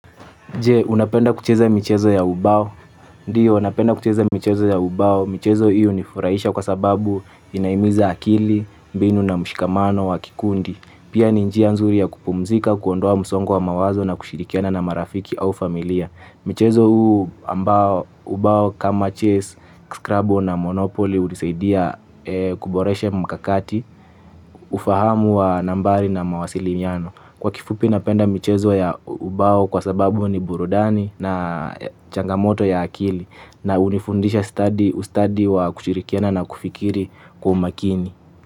Je, unapenda kucheza michezo ya ubao. Ndiyo, napenda kucheza michezo ya ubao. Michezo hii hunifurahisha kwa sababu inahimiza akili, mbinu na mshikamano wa kikundi. Pia ni njia nzuri ya kupumzika, kuondoa msongo wa mawazo na kushirikiana na marafiki au familia. Michezo huu ambao, ubao kama chess, scrabble na monopoly hunisaidia kuboresha mkakati, ufahamu wa nambari na mawasiliano. Kwa kifupi napenda michezo ya ubao kwa sababu ni burudani na changamoto ya akili na hunifundisha ustadi wa kushirikiana na kufikiri kwa umakini.